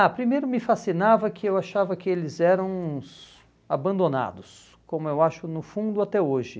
Ah, primeiro me fascinava que eu achava que eles eram uns abandonados, como eu acho no fundo até hoje.